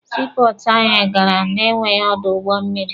Sii pọọtụ anyị gara na ya enweghị ọdụ ụgbọ mmịrị.